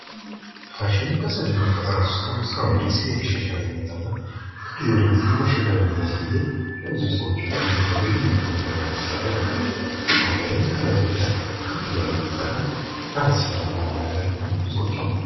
ዘላቂ ፋሽን የአካባቢን ጉዳት ለመቀነስና የሰራተኞችን መብት ለማስጠበቅ ትኩረት የሚሰጥ አዲስ አዝማሚያ ነው